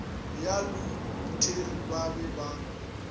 ya luthere ba be ba